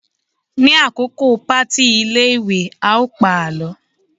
ní àkókò party ilé ìwé, a o pa àlọ